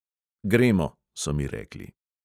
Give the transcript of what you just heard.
Gremo, so mi rekli.